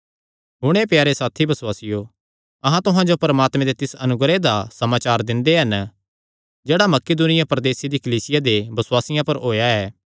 हुण हे प्यारे साथी बसुआसियो अहां तुहां जो परमात्मे दे तिस अनुग्रह दा समाचार दिंदे हन जेह्ड़ा मकिदुनिया प्रदेसे दी कलीसियां दे बसुआसियां पर होएया ऐ